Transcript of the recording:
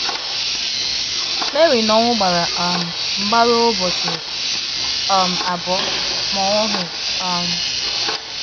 Mary na ọnwụ gbara um mgba ruo ụbọchị um abụọ, ma ọ nwụghị um.